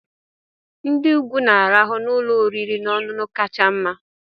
Ndị ukwu na-arahụ n'ụlọ oriri na ọṅụṅụ kacha mma.